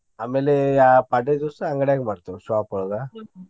ಆಮೇಲೆ ಯಾ~ ಪಾಡ್ಯಾ ದಿವ್ಸ ಅಂಗಡ್ಯಾಗ ಮಾಡ್ತೇವ್ shop ಒಳಗ.